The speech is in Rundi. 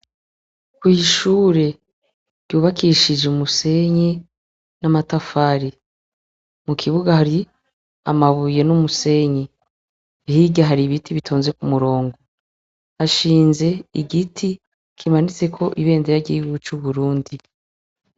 Kw'ishure yubakishije umusenye n'amatafari mu kibuga hari amabuye n'umusenyi higa hari ibiti bitonze ku murongo ashinze igiti kimanitse ko ibende yagiwe c'uburundi.